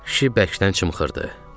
Kişi bərkdən çımxırdı.